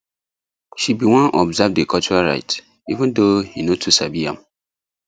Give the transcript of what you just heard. she been wan observe the cultural rites even thou he no too sabi am